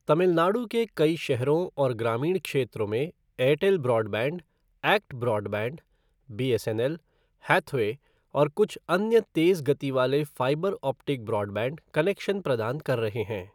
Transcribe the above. तमिलनाडु के कई शहरों और ग्रामीण क्षेत्रों में Airtel broadband, ACT broadband, BSNL, Hathway और कुछ अन्य तेज़ गति वाले फ़ाइबर ऑप्टिक ब्रॉडबैंड कनेक्शन प्रदान कर रहे हैं।